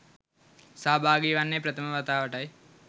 සහභාගි වන්නේ ප්‍රථම වතාවටයි.